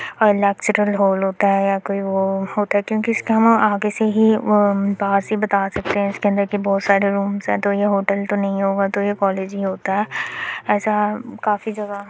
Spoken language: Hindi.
अलग से कोई हॉल होता है या कोई वो होता है क्योंकि इसके ना आगे से ही बाहर से ही बता सकते हैं इसके अंदर की बहुत सारे रूम हैं तो ये होटल तो नही होगा तो ये कॉलेज ही होता है ऐसा काफ़ी जगह --